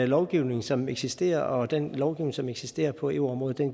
lovgivning som eksisterer og den lovgivning som eksisterer på eu området